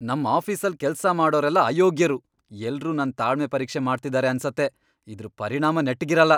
ನಮ್ ಆಫೀಸಲ್ ಕೆಲ್ಸ ಮಾಡೋರೆಲ್ಲ ಅಯೋಗ್ಯರು, ಎಲ್ರು ನನ್ ತಾಳ್ಮೆ ಪರೀಕ್ಷೆ ಮಾಡ್ತಿದಾರೆ ಅನ್ಸತ್ತೆ, ಇದ್ರ್ ಪರಿಣಾಮ ನೆಟ್ಗಿರಲ್ಲ.